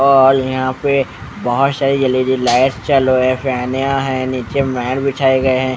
और यहां पे बहोत सारी एल_इ_डी लाइट चालू है फयान्या फैन है नीचे मैट बिछाए गए हैं।